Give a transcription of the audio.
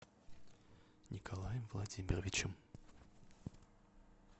николаем владимировичем